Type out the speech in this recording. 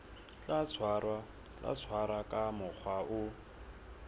tla tshwarwa ka mokgwa o